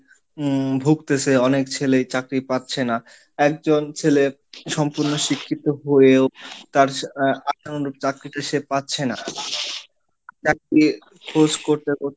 উম ভুগতেছে, অনেক ছেলে চাকরি পাচ্ছে না, একজন ছেলে সম্পূর্ণ শিক্ষিত হয়েও তার চাকরিটা সে পাচ্ছে না, চাকরির খোঁজ করতে করতে,